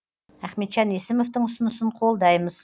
ахметжан есімовтің ұсынысын қолдаймыз